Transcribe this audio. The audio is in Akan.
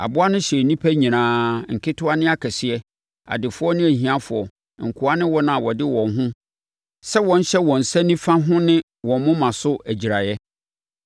Aboa no hyɛɛ nnipa nyinaa, nketewa ne akɛseɛ; adefoɔ ne ahiafoɔ, nkoa ne wɔn a wɔde wɔn ho sɛ wɔnhyɛ wɔn nsa nifa ho ne wɔn moma so agyiraeɛ.